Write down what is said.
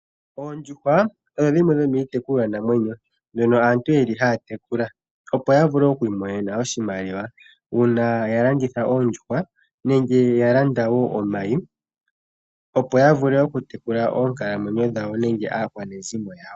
Oondjuhwa odho dhimwe dhomiitekulwanamwenyo mbyono aantu yeli haa tekula, opo ya vule okwiimonena oshimaliwa uuna ya landitha oondjuhwa nenge ya landa wo omayi ,opo ya vule okutekula oonkalamwenyo dhawo nenge aakwanezimo yawo.